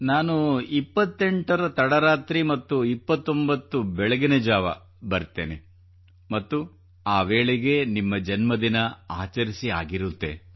ನಾನು 28ರ ತಡರಾತ್ರಿ ಮತ್ತು 29 ಬೆಳಗಿನಜಾವ ಬರುತ್ತೇನೆ ಮತ್ತು ಆ ವೇಳೆಗೆ ನಿಮ್ಮ ಜನ್ಮದಿನ ಆಚರಿಸಿ ಆಗಿರುತ್ತದೆ